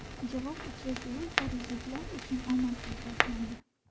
Javob uchrashuvi parijliklar uchun omadsiz boshlandi.